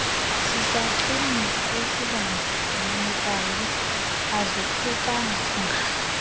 sisichumisi esibandakanyekayo azohlukanga